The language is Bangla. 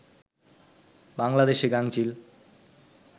বাংলাদেশে গাঙচিল